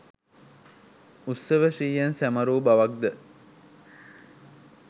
උත්සව ශ්‍රීයෙන් සැමරූ බවක්ද